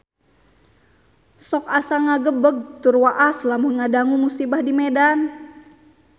Sok asa ngagebeg tur waas lamun ngadangu musibah di Medan